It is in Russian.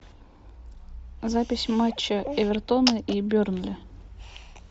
запись матча эвертона и бернли